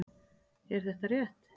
Er þetta rétt?